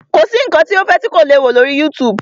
Kọ̀ sí nǹkan tí o fẹ́ kọ́ tí ò le kó lọ́rí YouTube.